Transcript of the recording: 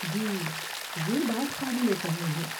جی، یہ بات قابل فہم ہے۔